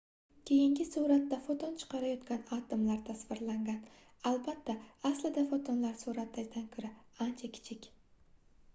keyingi suratda foton chiqarayotgan atomlar tasvirlangan albatta aslida fotonlar suratdagidan koʻra ancha kichik